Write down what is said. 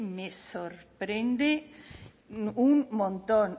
me sorprende un montón